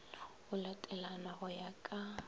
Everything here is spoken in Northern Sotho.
go latelana go ya ka